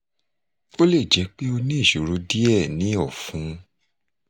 ó lè jẹ́ pé ó ní ìṣòro díẹ̀ ní ọ̀fun